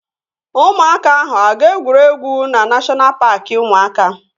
Ụmụaka ahụ aga egwuregwu na neshọna paaki ụmụaka?